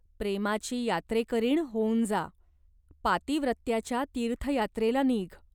प्रेमाची यात्रेकरीण होऊन जा. पातिव्रत्याच्या तीर्थयात्रेला नीघ.